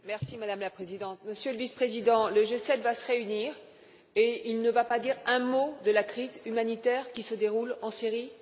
Madame la Présidente, Monsieur le Vice président, le G7 va se réunir et il ne va pas dire un mot de la crise humanitaire qui se déroule en Syrie?